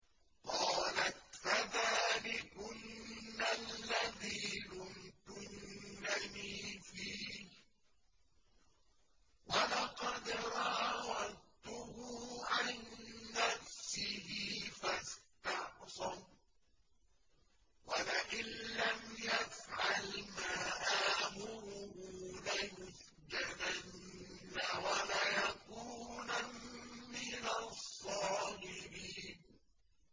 قَالَتْ فَذَٰلِكُنَّ الَّذِي لُمْتُنَّنِي فِيهِ ۖ وَلَقَدْ رَاوَدتُّهُ عَن نَّفْسِهِ فَاسْتَعْصَمَ ۖ وَلَئِن لَّمْ يَفْعَلْ مَا آمُرُهُ لَيُسْجَنَنَّ وَلَيَكُونًا مِّنَ الصَّاغِرِينَ